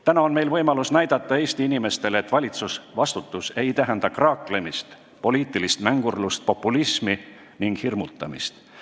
Täna on meil võimalus näidata Eesti inimestele, et valitsusvastutus ei tähenda kraaklemist, poliitilist mängurlust, populismi ega hirmutamist.